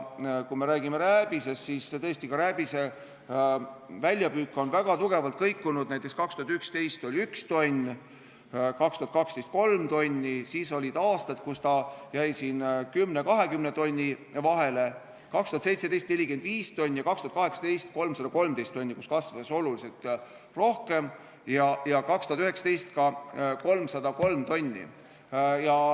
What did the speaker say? Kui me räägime rääbisest, siis tõesti, ka rääbise väljapüük on väga tugevalt kõikunud, näiteks 2011. aastal oli 1 tonn, 2012. aastal 3 tonni, siis olid aastad, kui ta jäi 10 ja 20 tonni vahele, 2017. aastal oli 45 tonni ja 2018. aastal 313 tonni, kasvas oluliselt rohkem, 2019. aastal oli 303 tonni.